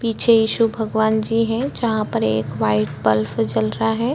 पीछे ईशु भगवान जी है जहाँ पर एक वाइट बल्ब जल रहा हैं।